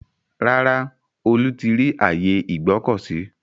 Rárá, Olú ti rí ààyè Ìgbọ̀kọ̀sí.